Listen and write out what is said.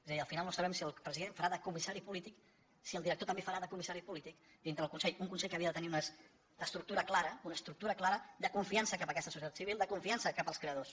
és a dir al final no sabem si el president farà de comissari polític si el director també farà de comissari polític dintre el consell un consell que havia de tenir una estructura clara una estructura clara de confiança cap a aquesta societat civil de confiança cap als creadors